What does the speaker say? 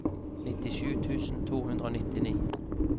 nittisju tusen to hundre og nittini